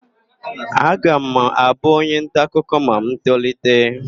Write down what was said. Aga m abụ onyentaakụkọ ma m tolite.